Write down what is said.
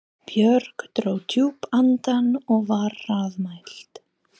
Björg dró djúpt andann og var hraðmælt